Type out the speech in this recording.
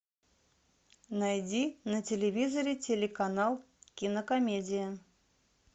найди на телевизоре телеканал кинокомедия